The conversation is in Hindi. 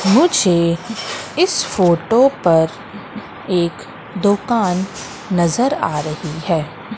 मुझे इस फोटो पर एक दुकान नजर आ रही है।